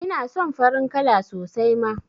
Ina son farin kala sosai ma